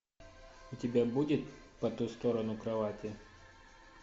у тебя будет по ту сторону кровати